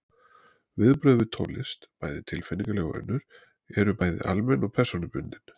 Viðbrögð við tónlist, bæði tilfinningaleg og önnur, eru bæði almenn og persónubundin.